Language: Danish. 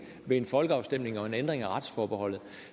ved en folkeafstemning og en ændring af retsforbeholdet